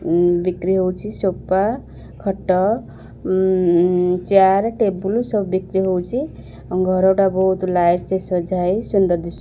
ଉ ବିକ୍ରୀ ହୋଉଚି ସୋଫା ଖଟ ଚେୟାର ଟେବୁଲ୍ ସବୁ ବିକ୍ରୀ ହୋଉଚି ଆ ଘର ଟା ବୋହୁତ୍ ଲାଇଟ୍ ଦିସୁଛି ସୁନ୍ଦର।